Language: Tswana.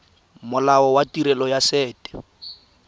molao wa tirelo ya set